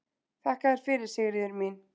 Þakka þér fyrir, Sigríður mín.